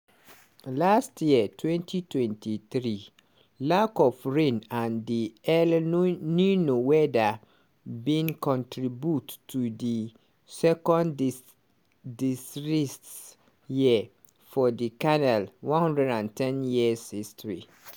last year 2023 lack of rain and di el nino weather bin contribute to di second dis disrest year for di canal 110-year history.